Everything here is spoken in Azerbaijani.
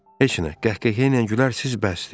Heç nə, qəhqəhə ilə gülər siz, bəsdir.